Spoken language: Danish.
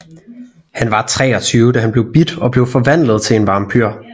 Han var 23 da han blev bidt og blev forvandlet til en vampyr